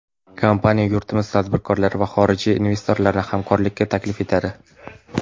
Kompaniya yurtimiz tadbirkorlari va xorijiy investorlarni hamkorlikka taklif etadi.